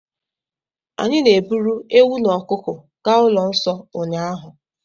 Anyị na-eburu ewu na ọkụkọ gaa ụlọ nsọ ụnyaahụ.